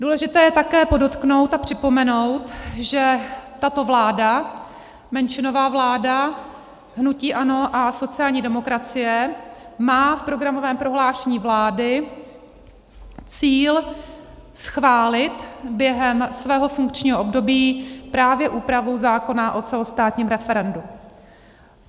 Důležité je také podotknout a připomenout, že tato vláda, menšinová vláda hnutí ANO a sociální demokracie, má v programovém prohlášení vlády cíl schválit během svého funkčního období právě úpravu zákona o celostátním referendu.